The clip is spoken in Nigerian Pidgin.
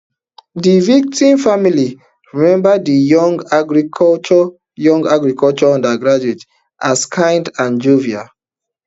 di victim family remember di young agriculture young agriculture undergraduate as kind and jovial